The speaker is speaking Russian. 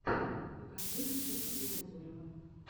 покажи джека белозерова